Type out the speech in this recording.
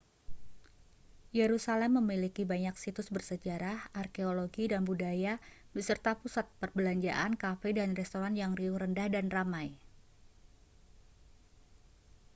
yerusalem memiliki banyak situs bersejarah arkeologi dan budaya beserta pusat perbelanjaan kafe dan restoran yang riuh rendah dan ramai